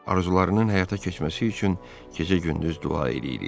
Arzularının həyata keçməsi üçün gecə-gündüz dua eləyirik.